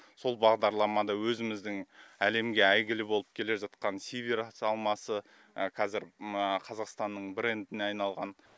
сол бағдарламада өзіміздің әлемге әйгілі болып келе жатқан сиверс алмасы қазір қазақстанның брендіне айналған